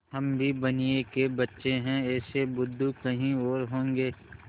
हम भी बनिये के बच्चे हैं ऐसे बुद्धू कहीं और होंगे